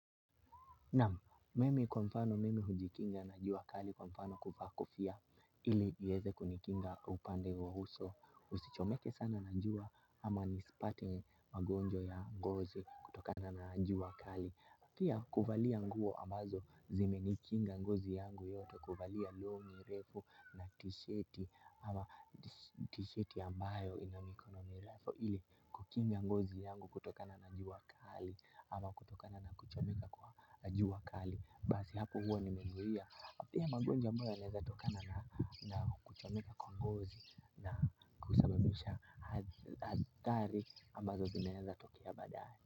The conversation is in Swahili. Naam, mimi kwa mfano mimi hujikinga na jua kali kwa mfano kuvaa kofia ili iweze kunikinga upande wa uso usichomeke sana na jua ama nisipate magonjwa ya ngozi kutokana na jua kali. Pia kuvalia nguo ambazo zimenikinga ngozi yangu yote kuvalia longi refu na tisheti ama tisheti ambayo ina mikono mrefu ili kukinga ngozi yangu kutokana na jua kali ama kutokana na kuchomeka kwa jua kali basi hapo huwa nimezuia pia magonjwa ambayo yanaweza tokana na kuchomeka kwa ngozi na kusababisha hathari ambazo zinaweza tokea baadae.